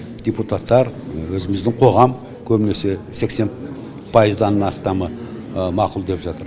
депутаттар өзіміздің қоғам көбінесе сексен пайыздан астамы мақұл деп жатыр